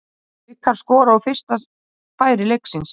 Haukar skora úr fyrsta færi leiksins.